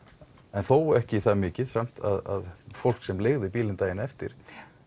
en þó ekki það mikið að fólk sem leigði bílinn daginn eftir